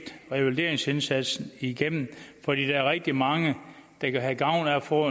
revalideringsindsatsen igennem for der er rigtig mange der kan have gavn af at få